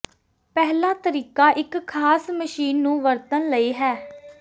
ਪਹਿਲਾ ਤਰੀਕਾ ਇੱਕ ਖਾਸ ਮਸ਼ੀਨ ਨੂੰ ਵਰਤਣ ਲਈ ਹੈ